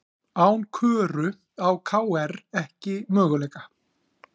Án Köru á KR ekki möguleika